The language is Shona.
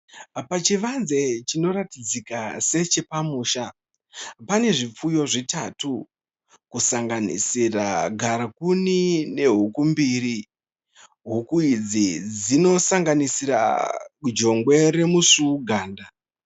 Pachivanze chinoratidzika sechepamusha, pane zvipfuyo zvitatu, kusanganisira garakuni nehuku mbiri. Huku idzi dzinosanganisira jongwe romusvuwuganda.